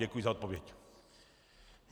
Děkuji za odpověď.